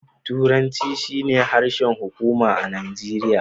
Turanci shine harshen hukuma a Najeriya.